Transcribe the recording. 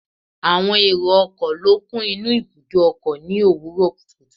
Àwọn èrò ọkọ̀ ló kún inú ibùdó ọkọ̀ ni òwúrò kùtùkùtù